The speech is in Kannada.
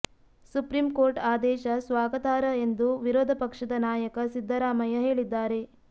ಸುಪ್ರೀಂ ಕೋರ್ಟ್ ಆದೇಶ ಸ್ವಾಗತಾರ್ಹ ಎಂದು ವಿರೋಧ ಪಕ್ಷದ ನಾಯಕ ಸಿದ್ದರಾಮಯ್ಯ ಹೇಳಿದ್ದಾರೆ